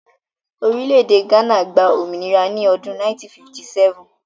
Orílẹ̀-èdè Ghana gba òmìnira ní ọdún 1957.